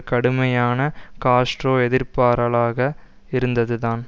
கடுமையான காஸ்ட்ரோ எதிர்ப்பாரலாக இருந்ததுதான்